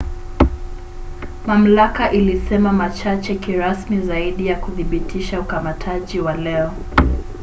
mamlaka ilisema machache kirasmi zaidi ya kuthibitisha ukamataji wa leo